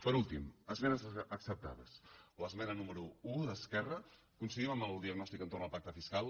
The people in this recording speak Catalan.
per últim esmenes acceptades l’esmena número un d’esquerra coincidim amb el diagnòstic entorn al pacte fiscal